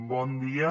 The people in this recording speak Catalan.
bon dia